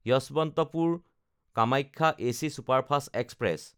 যশৱন্তপুৰ–কামাখ্যা AC superfast express